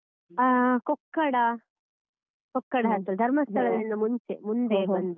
ಹ ಕೊಕ್ಕಡ ಕೊಕ್ಕಡಾಂತ ಧರ್ಮಸ್ಥಳದಿಂದ ಮುಂಚೆ ಮುಂದೆ ಬಂದು.